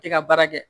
I ka baara kɛ